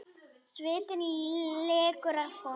Svitinn lekur af honum.